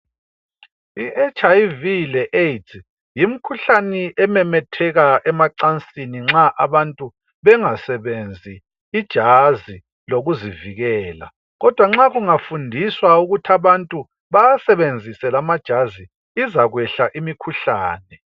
I'HIV le AIDS' yimikhuhlane ememetheka emacansini nxa abantu bengasebenzi ijazi lokuzivikela kodwa nxa kungafundiswa ukuthi abantu bawasebenzise lamajazi izakwehla imikhuhlane.